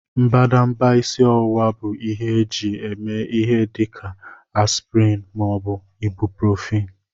Mbadamba isi ọwụwa bụ ihe eji eme ihe dị ka aspịrịn ma ọ bụ ibuprofin